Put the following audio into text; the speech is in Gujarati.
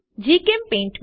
જીચેમ્પેઇન્ટ